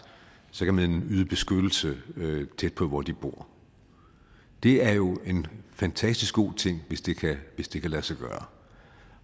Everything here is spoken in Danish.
så kan man yde beskyttelse tæt på hvor de bor det er jo en fantastisk god ting hvis det kan lade sig gøre